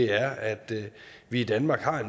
er at vi i danmark har